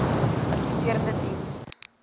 adviserende diens diens